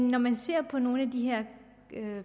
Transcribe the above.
når man ser på nogle af de her